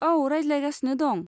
औ, रायज्लायगासिनो दं।